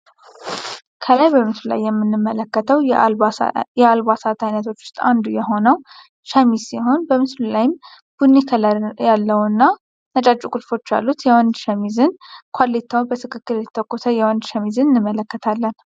ከላይ በምስሉ ላይ የምንመለከተዉ የአልባሳት አይነቶች አንዱ ዉስጥ የሆነዉ ሸሚዝ ሲሆን፤ በምስሉ ላይም ቡኒ ከለር ያለዉ እና ነጫጭ ቁልፎች ያሉት የወንድ ሸሚዝን ኮሌታዉ በትክክል የተተኮሰ የወንድ ሸሚዝን እንመለከታለን።